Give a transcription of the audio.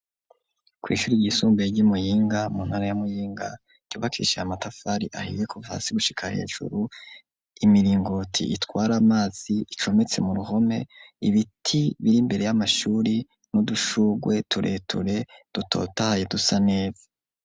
Kw'ishure ryisumbuye ry'iMuyinga, intara ya Muyinga ryubakishije amatafari ahiye kuva hasi gushika hejuru, imiringoti itwar'amazi icometse muruhome, ibiti br'imbere y'amashuri n'udushurwe tureture dutotahaye dusa neza.